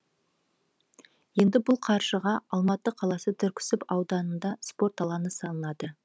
енді бұл қаржыға алматы қаласы түрксіб ауданында спорт алаңы салынады